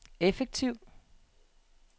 effektiv